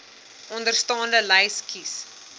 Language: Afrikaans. onderstaande lys kies